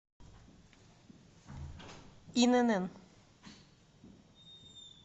инн